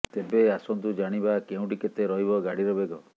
ତେବେ ଆସନ୍ତୁ ଜାଣିବା କେଉଁଠି କେତେ ରହିବ ଗାଡିର ବେଗ